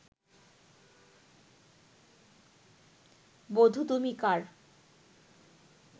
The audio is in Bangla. বধূ তুমি কার'